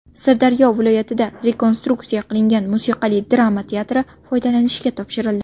Sirdaryo viloyatida rekonstruksiya qilingan musiqali drama teatri foydalanishga topshirildi.